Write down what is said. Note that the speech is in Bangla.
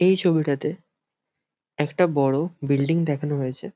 এই ছবিটাতে একটা বড় বিল্ডিং দেখানো হয়েছে।